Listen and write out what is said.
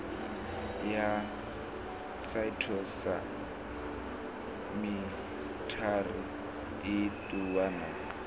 ya phytosamitary i ṱuwa na